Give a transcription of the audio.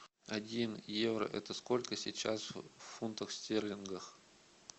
один евро это сколько сейчас в фунтах стерлингах